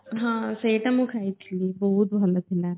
ହଁ ସେଇଟା ମୁଁ ଖାଇଥିଲି ବହୁତ୍ ଭଲ ଥିଲା